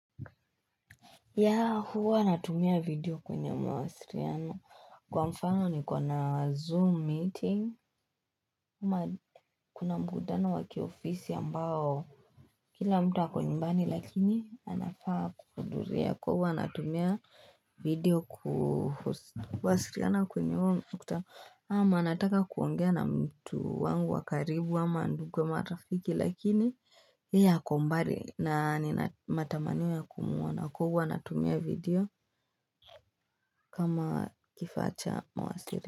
Yeah hua natumia video kwenye mawasiliano kwa mfano nikiwa na zoom meeting kuna mkutano wa kiofisi ambao kila mtu ako nyumbani lakini anafaa kuhudhuria kwa hua natumia video kuwasiliana kwenye huo kutama ama anataka kuongea na mtu wangu wa karibu ama ndugu ama ata marafiki lakini yeye ako mbali na nina matamanio ya kumuona kwa hua natumia video kama kifaa cha mawasiliano.